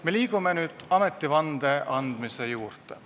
Me liigume nüüd ametivande andmise juurde.